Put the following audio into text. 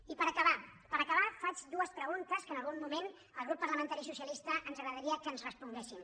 i per acabar per acabar faig dues preguntes que en algun moment al grup parlamentari socialista ens agradaria que ens responguessin